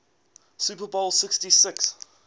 super bowl xliv